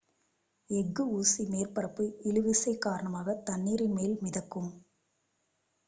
எஃகு ஊசி மேற்பரப்பு இழுவிசை காரணமாக தண்ணீரின் மேல் மிதக்கும்